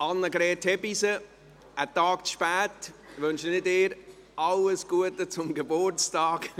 Annegret Hebeisen, einen Tag zu spät wünsche ich Ihnen alles Gute zum Geburtstag.